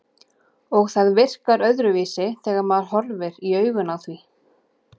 Og það virkar öðruvísi þegar maður horfir í augun á því.